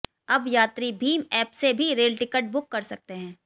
अब यात्री भीम ऐप से भी रेल टिकट बुक कर सकते है